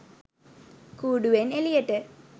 කූඩුවෙන් එළියට.